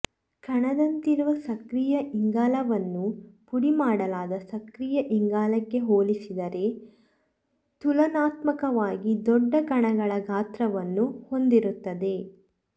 ಕಣದಂತಿರುವ ಸಕ್ರಿಯ ಇಂಗಾಲವನ್ನು ಪುಡಿ ಮಾಡಲಾದ ಸಕ್ರಿಯ ಇಂಗಾಲಕ್ಕೆ ಹೋಲಿಸಿದರೆ ತುಲನಾತ್ಮಕವಾಗಿ ದೊಡ್ಡ ಕಣಗಳ ಗಾತ್ರವನ್ನು ಹೊಂದಿರುತ್ತದೆ